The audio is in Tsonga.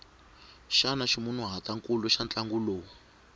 xana ximunhuhatwankulu xa ntlangu lowu